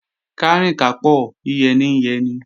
Kárìn kápò, yíyẹ ní ń yẹni